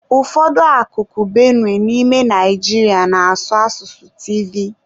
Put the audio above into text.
Ụfọdụ akụkụ Benue n'ime Naijiria na-asụ asụsụ Tivi.